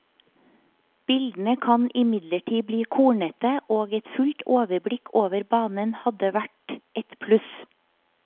Bildene kan imidlertid bli kornete, og et fullt overblikk over banen hadde vært et pluss.